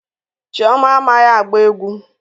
Chioma amaghi agba egwu